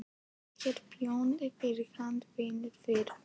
Ég er þjónn fyrir hádegi, vinn fyrir